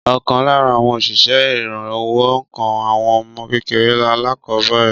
Ọkàn lára àwọn òṣìṣẹ́ ìrànwọ́ ńkọ́ àwọn ọmọ kékeré alákọ̀ọ́bẹ̀rẹ̀